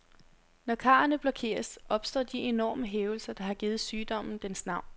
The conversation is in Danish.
Når karrene blokeres, opstår de enorme hævelser, der har givet sygdommen dens navn.